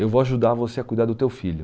Eu vou ajudar você a cuidar do teu filho.